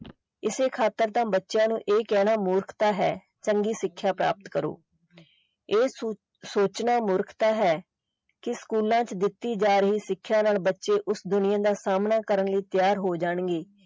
ਇਸੇ ਖਾਤਰ ਤਾਂ ਬੱਚਿਆਂ ਨੂੰ ਇਹ ਕਹਿਣਾ ਮੂਰਖਤਾ ਹੈ ਚੰਗੀ ਸਿੱਖਿਆ ਪ੍ਰਾਪਤ ਕਰੋ ਇਹ ਸੋਚਣਾ ਮੂਰਖਤਾ ਹੈ ਕਿ ਸਕੂਲਾਂ ਚ ਦਿੱਤੀ ਜਾ ਰਹੀ ਸਿੱਖਿਆ ਨਾਲ ਬੱਚੇ ਉਸ ਦੁਨੀਆ ਦਾ ਸਾਹਮਣਾ ਕਰਨ ਲਈ ਤਿਆਰ ਹੋ ਜਾਣਗੇ।